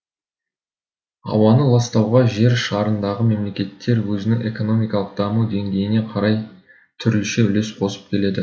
ауаны ластауға жер шарындағы мемлекеттер өзінің экономикалық даму деңгейіне қарай түрліше үлес қосып келеді